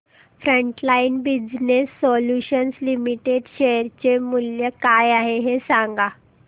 frontline business solutions limited share चे मूल्य काय आहे हे सांगा